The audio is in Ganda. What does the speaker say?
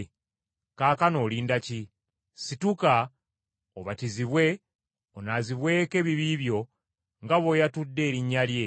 Kaakano olinda ki? Situka obatizibwe onaazibweko ebibi byo nga bw’oyatudde erinnya lye.’